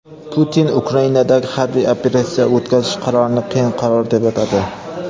Putin Ukrainadagi harbiy operatsiya o‘tkazish qarorini "qiyin qaror" deb atadi.